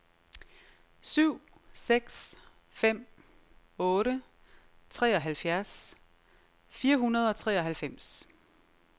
syv seks fem otte treoghalvfjerds fire hundrede og treoghalvfems